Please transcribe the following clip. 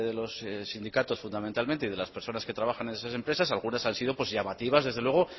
los sindicatos fundamentalmente y de las personas que trabajan en esas empresas algunas han sido llamativa desde luego